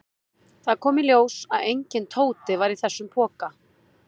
Það kom í ljós að enginn Tóti var í þessum poka.